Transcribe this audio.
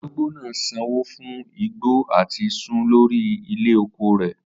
Arugbo naa san wọn fun igbo ati sun lori ilẹ oko rẹ